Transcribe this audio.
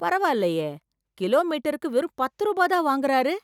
பரவாயில்லையே, கிலோமீட்டருக்கு வெறும் பத்து ரூபா தான் வாங்கறாரு.